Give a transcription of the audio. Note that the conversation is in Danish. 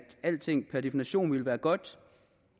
alting per definition ville være godt